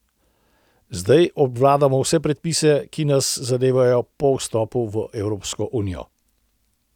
Zdaj obvladamo vse predpise, ki nas zadevajo po vstopu v Evropsko unijo.